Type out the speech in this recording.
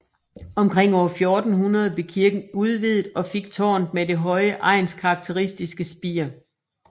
Omkring år 1400 blev kirken udvidet og fik tårnet med det høje egnskarakteristiske spir